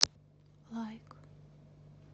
лайк